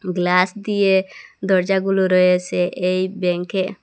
Glass দিয়ে দরজাগুলো রয়েসে এই ব্যাংকে।